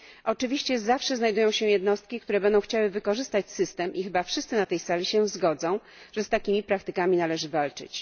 Oczywiście zawsze znajdą się jednostki, które będą chciały wykorzystać system i chyba wszyscy na tej sali się zgodzą, że z takimi praktykami należy walczyć.